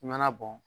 I mana bɔn